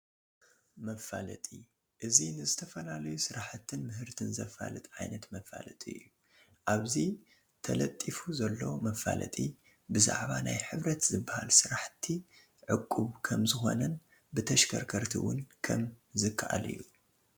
መፋለጢ፡-እዚ ንዝተፈላለዩ ስራሕቲን ምህርትን ዘፋልጥ ዓይነት መፋለጢ እዩ፡፡ ኣብዚ ተለጢፉ ዘሎ መፋለጢ ብዛዕባ ናይ ሕብረት ዝባሃል ስራሕቲ ዕቁብ ከምዝኾነን ብተሽከርከርቲ ውን ከምዝካኣል እዩ፡፡